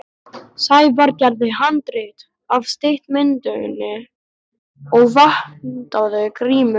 Sævar gerði handrit að stuttmyndinni og vantaði grímu.